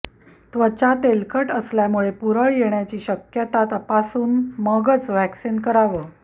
त्वचा तेलकट असल्यास पुरळ येण्याची शक्यता तपासून मगच वॅक्सिंग करावं